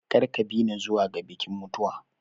Kar ka bi ni zuwa ga bikin mutuwa.